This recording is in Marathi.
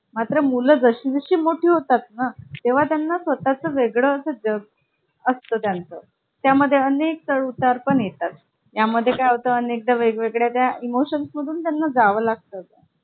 नवीन नवीन laptop विकत घेतला तर त्याच्या काही महिन्यांतच त्याला upgrade version येतं. त्याचबरोबर आपण खरेदी केलेले लॅपटॉप स्वस्त होईल आणि त्याची technology जुने होत असेल.